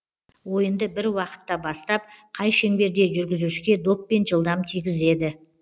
ойынды бір уақытта бастап қай шеңберде жүргізушіге доппен жылдам тигізеді